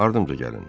Ardımdca gəlin.